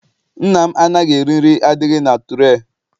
Nna m anaghị eri nri adịghị na ture.